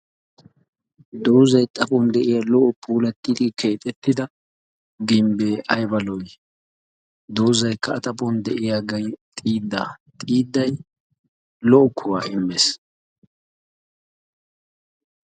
Doozzay xaaphuwan de'iya lo''o puulattidi keexettida gimbee ayba lo''ii? Dozaykka A xaaphuwan de'iyage xiidda, Xiidday lo''o kuwaa immees.